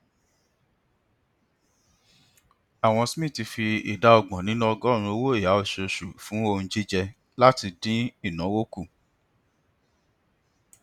awon smiths fi ìdá ọgbọn nínú ọgọọrún owóọyà osoòsù fún ohun jíjẹ láti dín ìnáwó kù